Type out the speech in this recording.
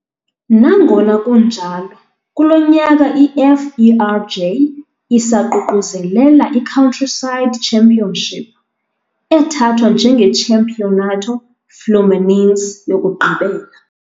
Nangona kunjalo, kulo nyaka i-FERJ isaququzelela i-Countryside Championship, ethathwa njengeChampeonato Fluminense yokugqibela.